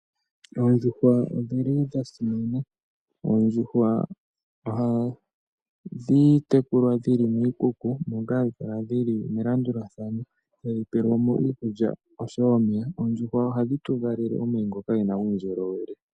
Oondjuhwa odhi li dha simana. Ohadhi tekulwa dhi li miikuku moka hadhi kala dhi li melandulathano tadhi pelwa mo iikulya osho wo omeya. Oondjuhwa ohadhi tu valele omayi ngono ge na uundjolowele.